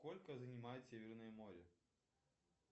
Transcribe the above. сколько занимает северное море